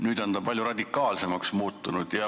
Nüüd on ta palju radikaalsemaks muutunud.